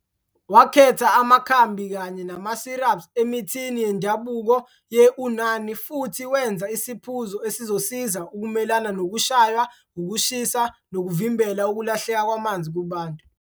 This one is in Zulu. Wakhetha amakhambi kanye nama-syrups emithini yendabuko ye-Unani futhi wenza isiphuzo esizosiza ukumelana nokushaywa ukushisa nokuvimbela ukulahleka kwamanzi kubantu.